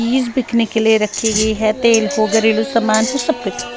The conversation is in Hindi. चीज बिकने के लिए रखी गई है तेल को घरेलू सामान को सब--